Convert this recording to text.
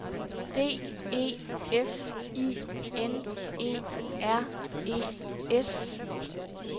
D E F I N E R E S